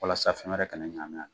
Walasa fɛn wɛrɛ kana ɲagami a la.